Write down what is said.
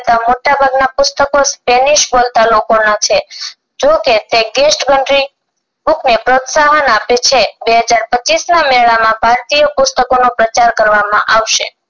Spanish બોલતા લોકોના છે જો કે આપણે પ્રોત્સાહન આપે છે બે હજાર પચીસ ના મેળા માં ભારતીય પુસ્તકોનો પ્રચાર કરવામાં આવશે